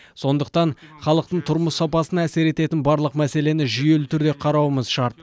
сондықтан халықтың тұрмыс сапасына әсер ететін барлық мәселені жүйелі түрде қарауымыз шарт